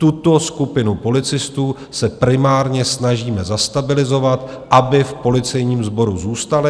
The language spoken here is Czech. Tuto skupinu policistů se primárně snažíme zastabilizovat, aby v policejním sboru zůstali.